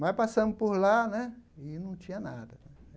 Mas passamos por lá né e não tinha nada.